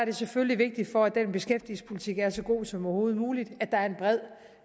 er selvfølgelig vigtigt for at den beskæftigelsespolitik er så god som overhovedet muligt at der er en bred